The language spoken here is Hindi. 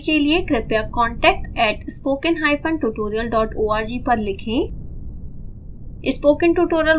अधिक जानकारी के लिए कृपया contact@spokentutorialorg पर लिखें